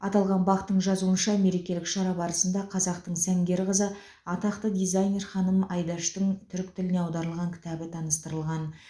аталған бақ тың жазуынша мерекелік шара барысында қазақтың сәнгер қызы атақты дизайнер ханым айдаштың түрік тіліне аударылған кітабы таныстырылған